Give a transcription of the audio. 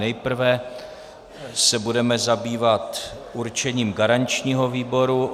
Nejprve se budeme zabývat určením garančního výboru.